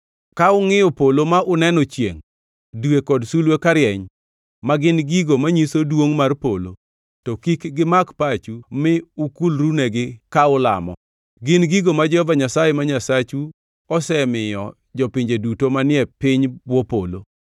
Ka ungʼiyo polo ma uneno chiengʼ, dwe kod sulwe karieny (ma gin gigo manyiso duongʼ mar polo), to kik gimak pachu mi ukulrunegi ka ulamo. Gin gigo ma Jehova Nyasaye ma Nyasachu osemiyo jopinje duto manie piny bwo polo.